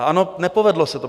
A ano, nepovedlo se to.